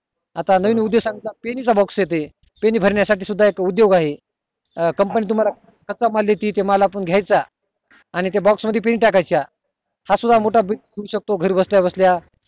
आता नवीन उद्देश pen चा box येते pen भरण्या साठी पण एक उदोग आहे अं company तुम्हला कच्चा माल देते तो माल आपण घायचा आणि त्या box मध्ये pen टाकायच्या असा business मोठा होऊ शकतो घरी बसल्या बसल्या